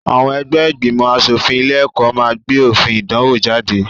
Àwọn ẹgbẹ́ ìgbìmọ̀-aṣòfin ilé-ẹ̀kọ́ máa gbé òfin ìdánwò jáde.